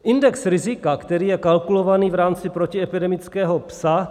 Index rizika, který je kalkulovaný v rámci protiepidemického "psa".